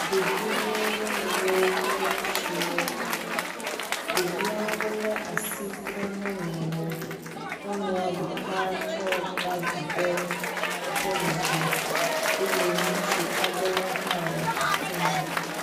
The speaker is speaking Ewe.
Ɖeviwo, nyɔnuwo kple ŋutsuwo. Ɖeviawo asi kple nyɔnuwo. Nyɔnua ɖeka tsɔ bagi ɖe eƒe megbe eye ŋutsu aɖewo hã le afi ma.